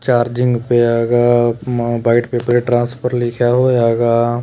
Charging ਪਿਆ ਹੇਗਾ byte paper transfer ਲਿਖਿਆ ਹੋਇਆ ਹੇਗਾ।